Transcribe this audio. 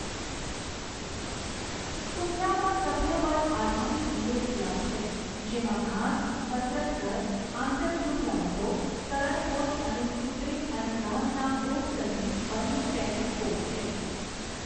સુખનામાં સભ્યપદ આધારિત lake club છે, જેમાં ઘાસ, કસરતઘર, આંતરગૃહ રમતો, તરણ હોજ અને કૃત્રિમ અને ઘાસના કોર્ટ સહીત બંને ટેનિસ કોર્ટ છે.